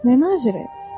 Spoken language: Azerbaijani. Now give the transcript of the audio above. Nə naziri?